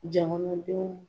Jahanadenw